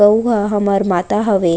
गऊ ह हमर माता हवे।